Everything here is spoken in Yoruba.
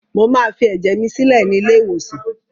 Mo máa fi ẹ̀jẹ̀ mi sílẹ̀ ni ilé-ìwòsàn.